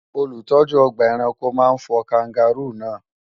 Olùtọ́jú ọgbà ẹranko máa fọ Káńgàróò náà